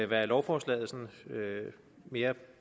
hvad lovforslaget sådan mere